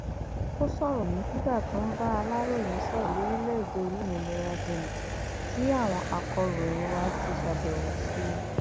ó sọrọ yìí nígbà tó ń bá aláròye sọrọ lórílẹèdè olómìnira benin tí àwọn akòròyìn wa ti ṣàbẹwò sí i